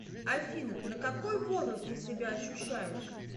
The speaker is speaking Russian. афина на какой возраст ты себя ощущаешь